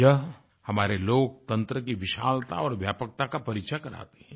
यह हमारे लोकतंत्र की विशालता और व्यापकता का परिचय कराती है